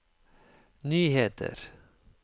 nyheter